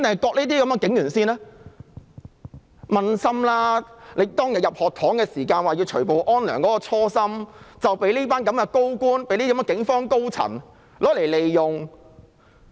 請他們撫心自問，當天進入學堂希望除暴安良的初心，已被這群高官、警方高層所利用。